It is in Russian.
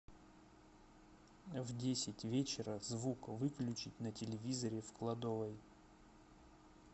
в десять вечера звук выключить на телевизоре в кладовой